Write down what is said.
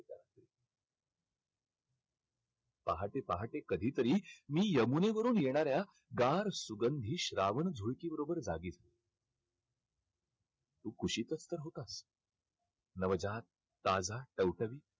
पहाटे पहाटे कधीतरी मी यमुनेवरून येणाऱ्या गार सुगंधी श्रावण झुळकीबरोबर तू कुशीतच तर होतास. नवजात, ताजा, टवटवीत